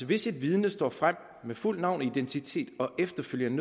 hvis et vidne står frem med fuldt navn identitet og efterfølgende